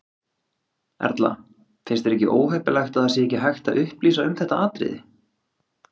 Erla: Finnst þér ekki óheppilegt að það sé ekki hægt að upplýsa um þetta atriði?